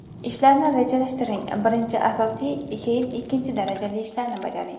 Ishlarni rejalashtiring Birinchi asosiy, keyin ikkinchi darajali ishlarni bajaring.